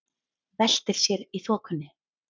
Veltir sér í þokunni.